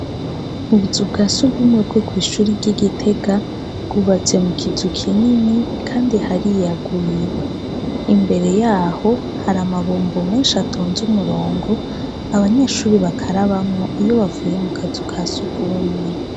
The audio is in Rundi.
Ubuzu bwa sugumwe bwo kw'ishure ry'i Gitega, bwubatse mu kizu kinini kandi hariyaguye. Imbere yaho har’amabombo menshi atonze umurongo abanyeshure bakarabamwo iyo bavuye mu kazu ka sugumwe.